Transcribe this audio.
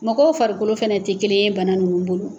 Mɔgɔw farikolo fana tɛ kelen yen bana ninnu bolo.